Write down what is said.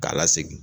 K'a lasegin